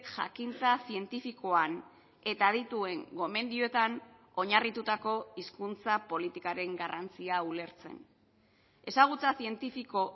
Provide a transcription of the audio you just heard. jakintza zientifikoan eta adituen gomendioetan oinarritutako hizkuntza politikaren garrantzia ulertzen ezagutza zientifiko